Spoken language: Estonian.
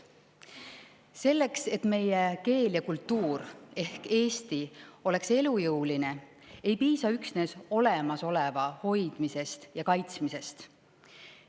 Selleks, et meie keel ja kultuur ehk Eesti oleks elujõuline, ei piisa üksnes olemasoleva hoidmisest ja kaitsmisest.